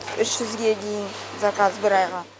үш жүзге дейін заказ бір айға